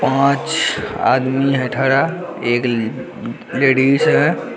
पाँच आदमी है ठरा एक ले-लेडिज है।